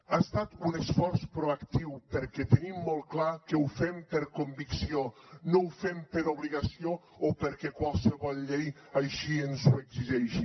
ha estat un esforç proactiu perquè tenim molt clar que ho fem per convicció no ho fem per obligació o perquè qualsevol llei així ens ho exigeixi